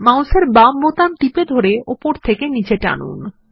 মাউসের বাম বাটন টিপে ধরে উপর থেকে নীচে টানুন